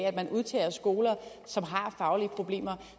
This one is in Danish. at man udtager skoler som har faglige problemer